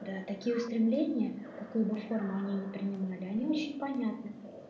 да такие устремления какую бы форму они не принимали они очень понятны